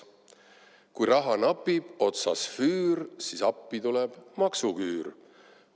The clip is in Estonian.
Kui raha napib, otsas füür, siis appi tuleb maksuküür.